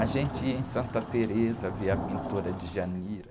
A gente ia em Santa Teresa ver a pintora de Djanira.